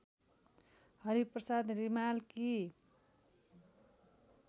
Hariprasad रिमालकी